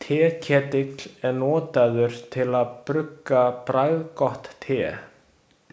Teketill er notaður til að brugga bragðgott te.